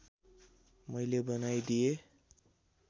मैले बनाई दिए